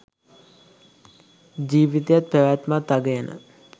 ජීවිතයත් පැවැත්මත් අගයන.